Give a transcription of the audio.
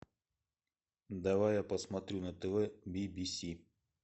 давай я посмотрю на тв бибиси